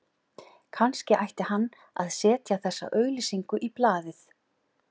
Kannski ætti hann að setja þessa auglýsingu í blaðið